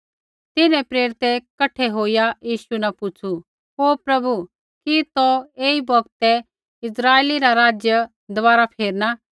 तिन्हैं प्रेरितै कठै होईया यीशु न पुछ़ू ओ प्रभु कि तौ एही बौगतै इस्राइला रा राज्य दबारा फेरना